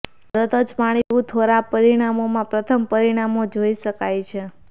તરત જ પાણી પીવું થોડા પરિણામોમાં પ્રથમ પરિણામો જોઇ શકાય છે